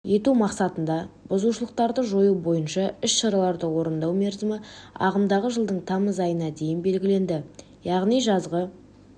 ету мақсатында бұзушылықтарды жою бойынша іс-шараларды орындау мерзімі ағымдағы жылдың тамызына дейін белгіленді яғни жазғы